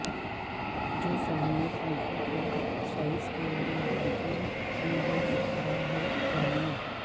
جو سامنے پنکھوں کے سائز کے لئے متاثر کن ہو سکتا ہے جانیں